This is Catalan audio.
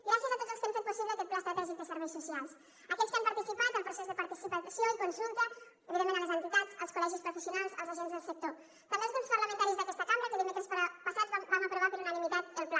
gràcies a tots els que han fet possible aquest pla estratègic de serveis socials a aquells que han participat en el procés de participació i consulta evidentment a les entitats als col·legis professionals als agents del sector també als grups parlamentaris d’aquesta cambra que dimecres passat vam aprovar per unanimitat el pla